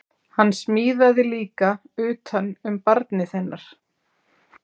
Hann smíðaði líka utan um barnið hennar